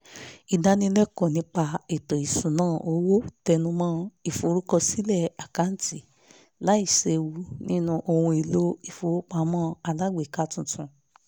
ìdánilẹ́kọ̀ọ́ nípa ètò ìṣúnná owó tẹnu mọ́ ìforúkọsílẹ̀ àkáǹtì láìséwu nínú ohun èlò ìfowópamọ́ alágbèéká tuntun